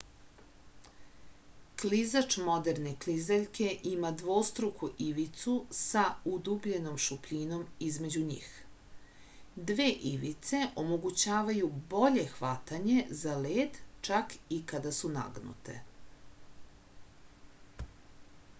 klizač moderne klizaljke ima dvostruku ivicu sa udubljenom šupljinom između njih dve ivice omogućavaju bolje hvatanje za led čak i kada su nagnute